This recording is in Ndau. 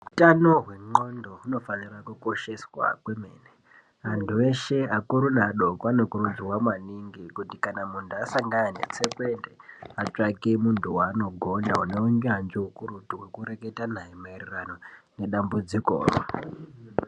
Utano hwendxondo hunofanirwa kukosheswa kwemene Antu eshe akuru neadoko anokurudzirwa maningi kuti kana muntu asangana netsekwende atsvake muntu waanogonda uneunyanzvi ukurutu wekureketa naye maererano nedambudziko raunenge unaro.